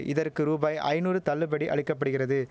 இதற்கு ரூபாய் ஐநூறு தள்ளுபடி அளிக்க படுகிறது